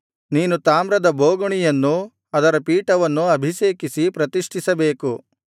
ನೀನು ತಾಮ್ರದ ಬೋಗುಣಿಯನ್ನೂ ಅದರ ಪೀಠವನ್ನೂ ಅಭಿಷೇಕಿಸಿ ಪ್ರತಿಷ್ಠಿಸಬೇಕು